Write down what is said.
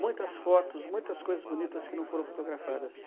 Muitas fotos, muitas coisas bonitas que não foram fotografadas.